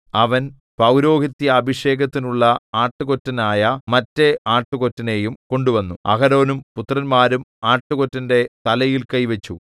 അവൻ പൌരോഹിത്യാഭിഷേകത്തിനുള്ള ആട്ടുകൊറ്റനായ മറ്റേ ആട്ടുകൊറ്റനെയും കൊണ്ടുവന്നു അഹരോനും പുത്രന്മാരും ആട്ടുകൊറ്റന്റെ തലയിൽ കൈവച്ചു